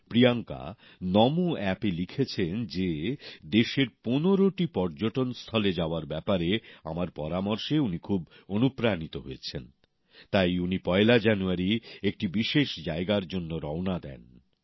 Priyanka Namo app এ লিখেছেন যে দেশের পনেরোটি পর্যটনস্থলে যাওয়ার ব্যাপারে আমার পরামর্শে উনি খুব অনুপ্রাণিত হয়েছেন তাই উনি পয়লা জানুয়ারী একটি বিশেষ জায়গার জন্য রওনা দেন